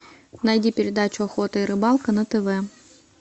найди передачу охота и рыбалка на тв